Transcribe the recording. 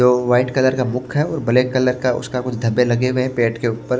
जो white colour का मुख है और ब्लैक कलर का उसका कुछ धब्बे लगे हुए हैं पेट के ऊपर--